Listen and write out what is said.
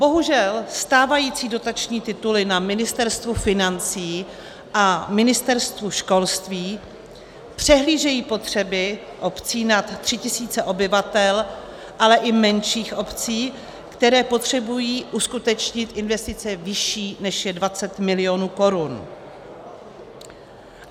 Bohužel stávající dotační tituly na Ministerstvu financí a Ministerstvu školství přehlížejí potřeby obcí nad 3 tisíce obyvatel, ale i menších obcí, které potřebují uskutečnit investice vyšší, než je 20 milionů korun.